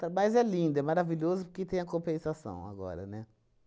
Tra mas é lindo, é maravilhoso, porque tem a compensação agora, né?